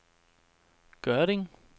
Gørding